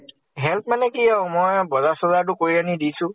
help মানে কি আৰু । মই তো বজাৰ চজাৰ তো কৰি আনি দিছো।